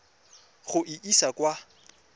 go e isa kwa go